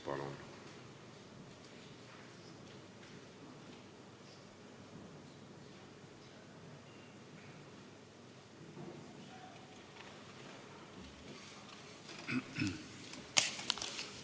Palun!